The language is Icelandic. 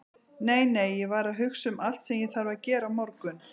Nei, nei, ég var að hugsa um allt sem ég þarf að gera á morgun.